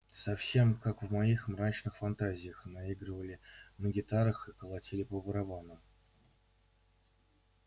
совсем как в моих мрачных фантазиях наигрывали на гитарах и колотили по барабанам